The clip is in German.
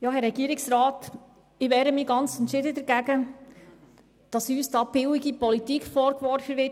Herr Regierungsrat, ich wehre mich entschieden dagegen, dass uns betreffend unseren Antrag billige Politik vorgeworfen wird.